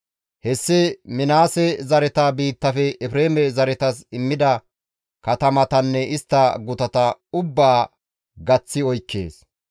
Hessi Minaase zareta biittafe Efreeme zaretas immida katamatanne istta gutata ubbaa gaththi oykkides.